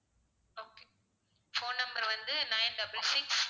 phone number வந்து nine double six